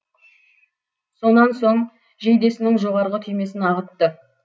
сонан соң жейдесінің жоғарғы түймесін ағытты